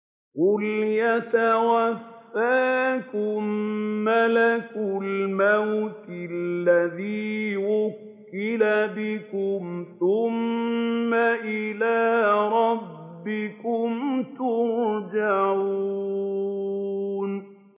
۞ قُلْ يَتَوَفَّاكُم مَّلَكُ الْمَوْتِ الَّذِي وُكِّلَ بِكُمْ ثُمَّ إِلَىٰ رَبِّكُمْ تُرْجَعُونَ